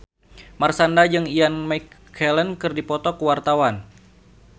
Marshanda jeung Ian McKellen keur dipoto ku wartawan